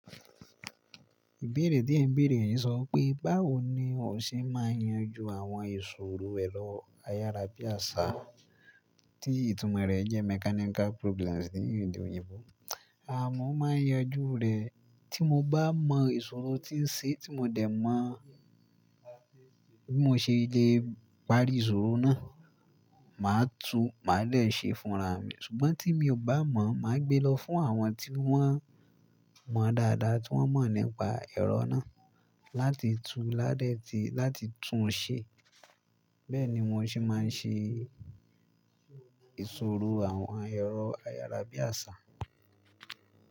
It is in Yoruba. Ìbéèrè tí ẹn béèrè yen sọ wipé báwo ni o ṣe máa ń yanjú àwọn ìṣòro ẹ̀rọ ayára bí àṣá tí ìtumọ̀ rẹ̀ jẹ́ mechanical problems ní èdè òyìnbó? À mọ́ máa ń yanjú rẹ̀ tí mo bá mọ ìṣòro tí ń ṣe tí mo dẹ̀ mọ̀ bí mo ṣe le parí ìṣòro náà, màá tu, màá dè ṣe é fúnra mi. Ṣùgbọ́n tí mi ò bá mọ̀, màá gbé lọ fún àwọn tí wọ́n mọ̀ dáadáa, tí wọ́n mọ̀ nípa ẹ̀rọ náà láti tú, ládẹ̀ ti, láti tún un ṣe. Bẹ́ẹ̀ ni mo ṣe máa ń ṣe ìṣòro àwọn ẹ̀rọ ayára bí àṣá.